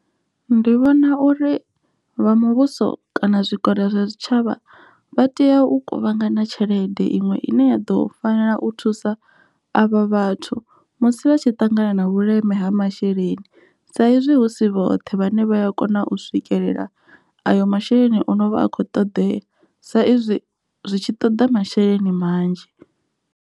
Ndi vhona uri vha muvhuso kana zwikoro zwa zwitshavha vha tea u kuvhangana tshelede iṅwe ine ya ḓo fanela u thusa avha vhathu musi vha tshi ṱangana na vhuleme ha masheleni, saizwi hu si vhoṱhe vhane vha a kona u swikelela ayo masheleni ono vha a kho ṱoḓea sa izwi zwitshi toḓa masheleni manzhi.